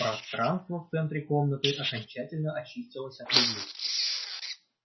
пространство в центре комнаты окончательно очистилось от людей